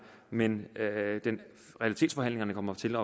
men realitetsforhandlingerne kommer til